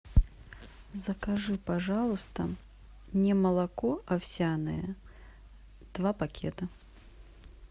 закажи пожалуйста немолоко овсяное два пакета